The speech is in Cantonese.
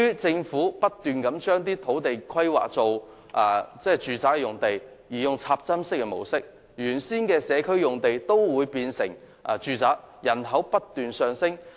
政府不斷將土地規劃為住宅用地，並採用"插針式"的方法建屋，原先的社區用地皆變成住宅，以致人口不斷增加。